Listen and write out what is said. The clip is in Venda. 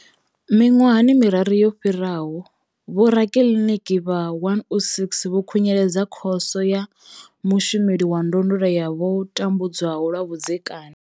Miṅwaha miraru yo fhiraho, vhorakiliniki vha 106 vho khunyeledza Khoso ya mushumeli wa ndondolo ya vho tambudzwaho lwa vhudzekani.